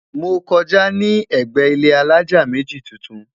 mọ kọjá ní ègbé ilé alájá méjì tuntun